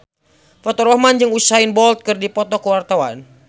Faturrahman jeung Usain Bolt keur dipoto ku wartawan